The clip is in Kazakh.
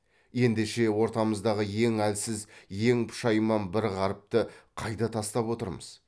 ендеше ортамыздағы ең әлсіз ең пұшайман бір ғарыпты қайда тастап отырмыз